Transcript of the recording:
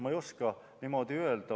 Ma ei oska niimoodi öelda.